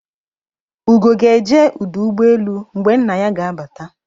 Ugo ga-eje uduugboelu mgbe nna ya ga-abata